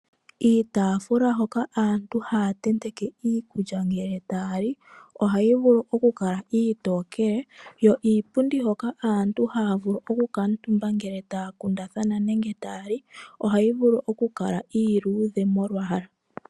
Iitaafula hoka aantu haya tenteke iikulya ngele tayali ohayivulu okukala iitokele, yo iipundi hoka aantu hayavulu okukala omutumba ngele taya kundathana nenge tayali ohayivulu okukala iiluudhe molwaala.